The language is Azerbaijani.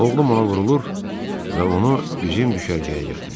Oğlum ona vurulur və onu bizim düşərgəyə gətirir.